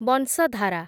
ବଂଶଧାରା